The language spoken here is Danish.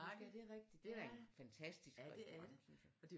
Ja det er rigtigt den er fantastisk restaurant synes jeg